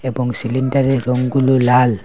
এবং সিলিন্ডারের রংগুলি লাল।